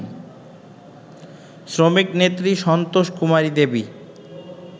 শ্রমিকনেত্রী Santoshkumari Devi